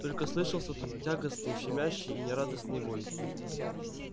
только слышался тут тягостный щемящий и нерадостный вой